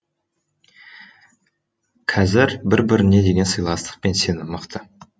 қазір бір біріне деген сыйластық пен сенім мықты